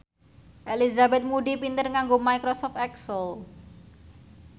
Elizabeth Moody pinter nganggo microsoft excel